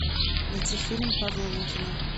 найти фильм павла лунгина